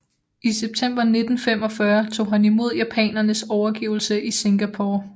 I september 1945 tog han imod japanernes overgivelse i Singapore